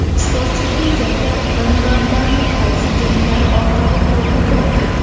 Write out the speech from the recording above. Sportchi eng katta gonorarlarini qaysi janglari orqali qo‘lga kiritgan?.